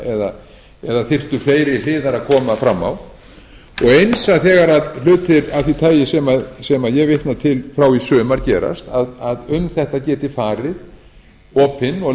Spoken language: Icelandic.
ómakleg eða þyrftu fleiri hliðar að koma fram á eins er þegar hlutir af því tagi sem ég vitna til frá í sumar gerast að um þetta geti farið opin